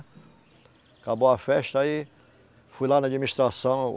Acabou a festa, aí. Fui lá na administração.